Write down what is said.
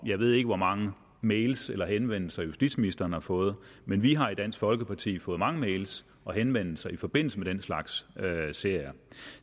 jeg ved ikke hvor mange mails og henvendelser justitsministeren har fået men vi har i dansk folkeparti fået mange mails og henvendelser i forbindelse med den slags serier